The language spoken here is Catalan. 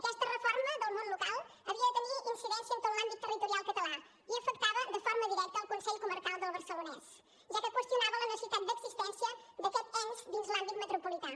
aquesta reforma del món local havia de tenir incidència en tot l’àmbit territorial català i afectava de forma directa el consell comarcal del barcelonès ja que qüestionava la necessitat d’existència d’aquest ens dins l’àmbit metropolità